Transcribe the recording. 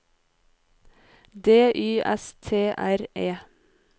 D Y S T R E